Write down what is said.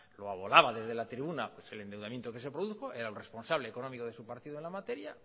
lo desde la tribuna pues el endeudamiento que se produjo era el responsable económico de su partido en la materia